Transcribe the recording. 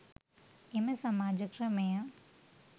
එම සමාජ ක්‍රමය